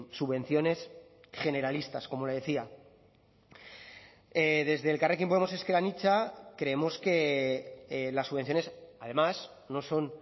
subvenciones generalistas como le decía desde elkarrekin podemos ezker anitza creemos que las subvenciones además no son